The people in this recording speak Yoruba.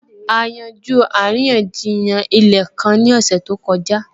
A yanjú àríyànjiyàn ilẹ̀ kan ní ọ̀sẹ̀ tó kọjá